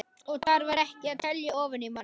Og þar var ekki verið að telja ofan í mann.